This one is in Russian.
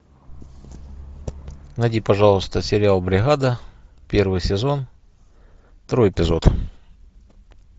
найди пожалуйста сериал бригада первый сезон второй эпизод